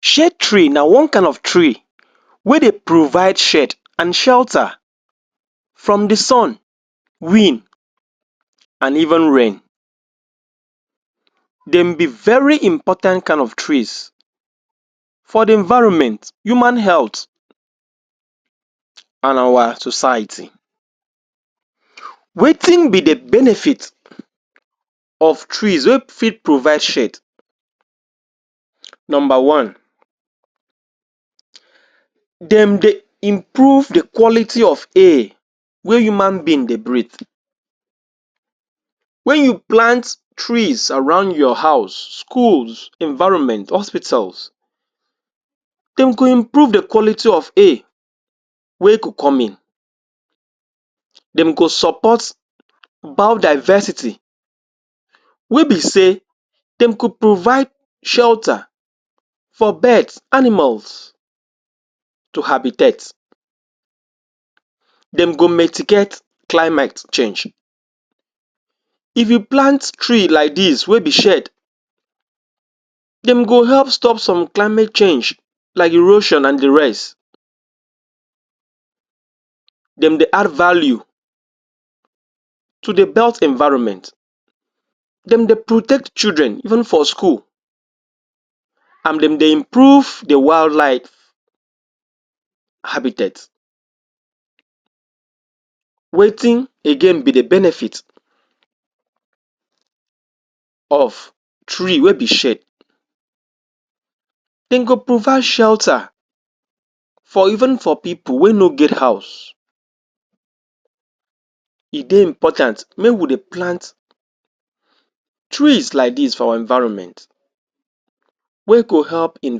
Shade tree na one kain of tree wey dey provide shade and shelter from di sun wind and even rain dem be very important kain of trees for di environment, human health and our society wetin be di benefits of trees wey fit provide shades? Number one? dem dey improve di kwality of air wey human being dey breathe Wen you plant trees surround your house, schools, environment, hospitals dem go improve di kwality of air wey go come in dem go support bio-diversity wey be say dem go provide shelter for birds, animals to habitate dem go mitigate climate change. If you plant tree like dis wey be shade, dem go help stop some climate change like erosion and di rest dem dey add value to di belt environment dem dey protect children even for school and dem dey imorove di wild life habitate. Wetin again be di benefits of, tree wey be shade dem go provide shelter for even for pipo wey no get house e dey important make we dey plant trees like dis for our environment wey go help in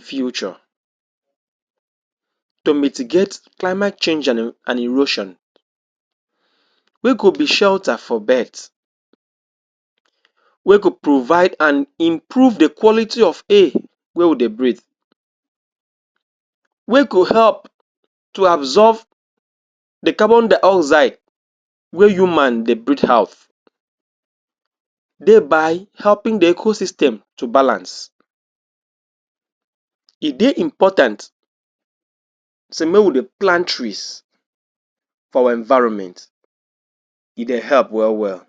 future to mitigate climate change and erosion wey go be shelter for birds. Wey go provide and improve di kwality of air wey we dey breathe. wey go help to absolve di carbondioxide wey human dey breathe out thereby helping di ecosystem to balance. E dey important say make we dey plant trees for our environment e dey help wel wel.